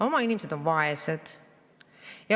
Oma inimesed on vaesed.